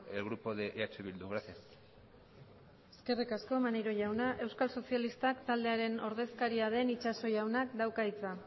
el grupo de eh bildu gracias eskerrik asko maneiro jauna euskal sozialistak taldearen ordezkaria den itxaso jaunak dauka hitza